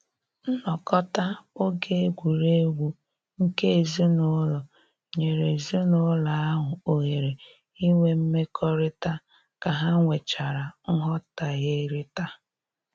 Nnọkọta oge egwuregwu nke ezinụlọ nyere ezinụlọ ahụ ohere inwe mmekọrịta ka ha nwechara nghọherita